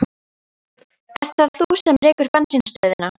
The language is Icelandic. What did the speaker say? Ert það þú sem rekur bensínstöðina?